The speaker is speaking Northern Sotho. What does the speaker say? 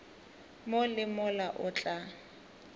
mo le mola o tla